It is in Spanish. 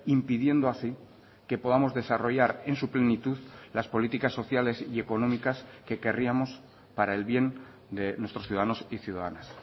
impidiendo así que podamos desarrollar en su plenitud las políticas sociales y económicas que querríamos para el bien de nuestros ciudadanos y ciudadanas